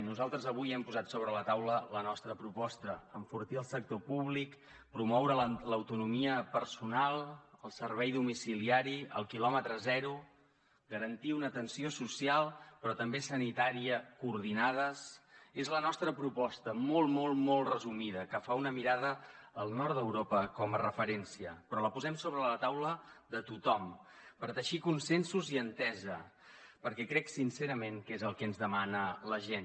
nosaltres avui hem posat sobre la taula la nostra proposta enfortir el sector públic promoure l’autonomia personal el servei domiciliari el quilòmetre zero garantir una atenció social però també sanitària coordinades és la nostra proposta molt molt molt resumida que fa una mirada al nord d’europa com a referència però la posem sobre la taula de tothom per teixir consensos i entesa perquè crec sincerament que és el que ens demana la gent